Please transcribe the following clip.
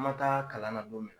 an man taa kalan na don min